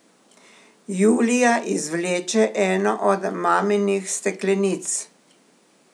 Julija izvleče eno od maminih steklenic.